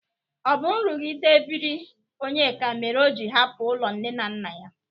Ọ bụ nrụghide ebiri Onyeka mere o ji gbapụ n'ụlọ nne na nna ya?